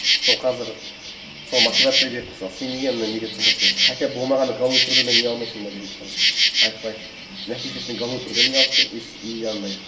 сол қазір сол мотивация беріп мысалы сен неге анандай неде тұрмайсың хотя бы болмағанда голубые прудыдан үй алмайсың ба деп мысалы айтып айтып сосын әке шешесіне голубые прудыдан үй алып берді и үйі анандай